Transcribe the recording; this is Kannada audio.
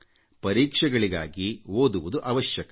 ಪರೀಕ್ಷೆಗಳಿಗಾಗಿ ಓದುವುದು ಅವಶ್ಯಕ